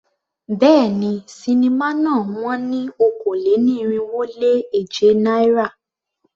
Béèni, sinimá náà wón ní okòó-lé-ní-irínwó-lé-èje náírà.